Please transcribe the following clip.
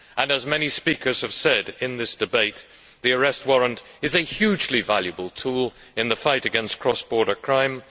As many speakers have said in this debate, the arrest warrant is a hugely valuable tool in the fight against cross border crime.